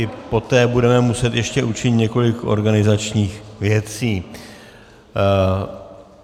I poté budeme muset ještě učinit několik organizačních věcí.